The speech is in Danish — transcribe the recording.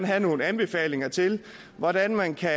have nogle anbefalinger til hvordan man kan